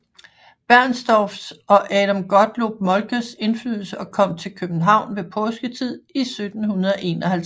Bernstorffs og Adam Gottlob Moltkes indflydelse og kom til København ved påsketid 1751